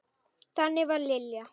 Þannig var Lilja.